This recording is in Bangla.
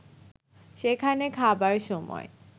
সেখানে খাবার সময়